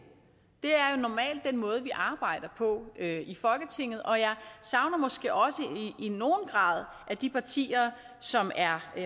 er den måde vi arbejder på i folketinget og jeg savner måske også i nogen grad at de partier som er